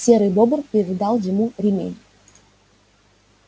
серый бобр передал ему ремень